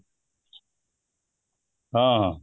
ହଁ, ହଁ